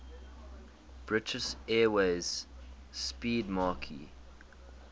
british airways 'speedmarque